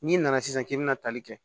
N'i nana sisan k'i bɛna tali kɛ